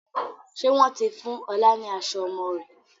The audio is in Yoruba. Ṣé wọn ti fún ọ̀la ni aṣọ ọmọ rẹ̀?